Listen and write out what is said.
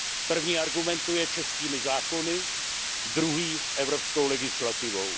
První argumentuje českými zákony, druhý evropskou legislativou.